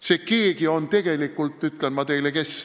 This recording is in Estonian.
See "keegi" on tegelikult kes?